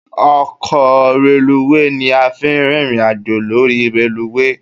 Ọkọ reluwé ni a fi ń rìnrìn àjò lórí reluwé